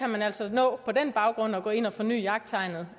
man altså på den baggrund nå at gå ind og få fornyet jagttegnet